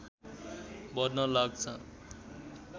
बढ्न लाग्छ